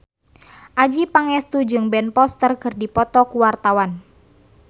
Adjie Pangestu jeung Ben Foster keur dipoto ku wartawan